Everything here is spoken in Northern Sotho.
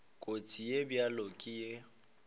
kotsi ye bjalo ka ye